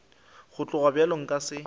go tloga bjalo nka se